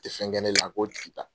tɛ fɛn kɛ ne la a k'o tigi ta.